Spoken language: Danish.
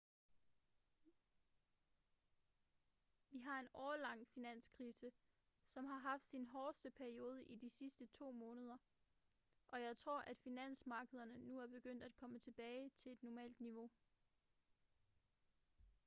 vi har en årelang finanskrise som har haft sin hårdeste periode i de sidste to måneder og jeg tror at finansmarkederne nu er begyndt at komme tilbage til et normalt niveau